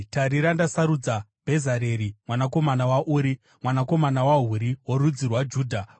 “Tarira ndasarudza Bhezareri mwanakomana waUri, mwanakomana waHuri, worudzi rwaJudha,